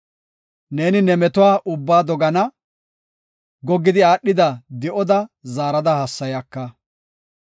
Neeni ne metuwa ubbaa dogana; goggidi aadhida di7oda zaara hassayaka.